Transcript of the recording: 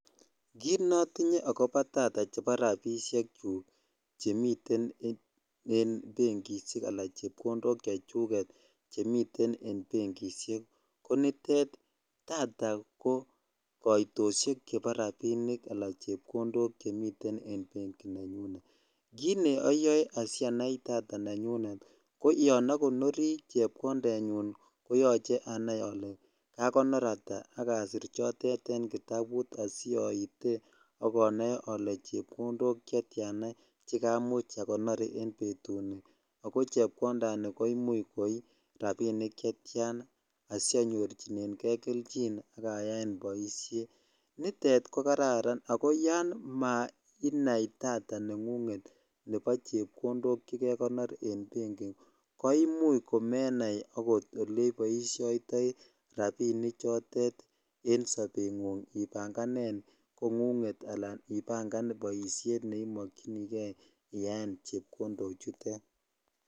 Kiit notinye akobo data chebo rabishk chuk chemiten en benkishek alan chepkondok chechuket chemiten en benkishek ko nitet data ko koitoshek chebo rabinik anan chepkondok chemiten en benki nenyunet, kiit nee oyoe asianai data nenyunet ko yoon okonori chepkondenyun koyoche anaii olee kakonor ataa ak asir chotet en kitabut asioite ak onoe olee chepkondok chetiana chekamuch akonor en betuni ak ko chepkondani ko imuch koii rabinik chetian asianyorchineng'e kelchin ak ayaen boishet, nitet ko kararn ak ko yoon mainai data nengung'et nebo chepkondok chekekonor en benki ko imuch komenai okot oleboishoitoi rabini chotet en sobeng'ung ibang'anen kong'ung'et alaan ibangan boishet neimokyinike iyaen chepkondo chutet.